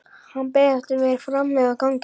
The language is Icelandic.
Hann beið eftir mér frammi á gangi.